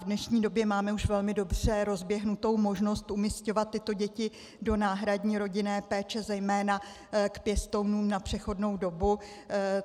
V dnešní době máme už velmi dobře rozběhnutou možnost umisťovat tyto děti do náhradní rodinné péče, zejména k pěstounům na přechodnou dobu.